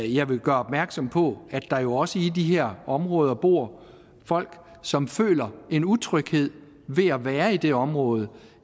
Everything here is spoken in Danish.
jeg vil gøre opmærksom på at der jo også i de her områder bor folk som føler en utryghed ved at være i det her område